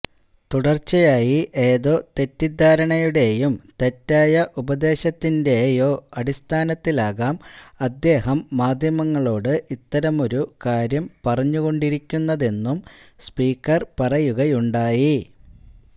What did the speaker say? തുടര്ച്ചയായി ഏതോ തെറ്റിദ്ധാരണയുടെയും തെറ്റായ ഉപദേശത്തിന്റെയോ അടിസ്ഥാനത്തിലാകാം അദ്ദേഹം മാധ്യമങ്ങളോട് ഇത്തരമൊരു കാര്യം പറഞ്ഞുകൊണ്ടിരിക്കുന്നതെന്നും സ്പീക്കര് പറയുകയുണ്ടായി